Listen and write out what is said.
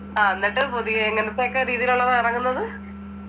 ആഹ് എന്നിട്ട് പുതിയ എങ്ങനത്തെഒക്കെ രീതിയുള്ളതാ അടങ്ങുന്നത്?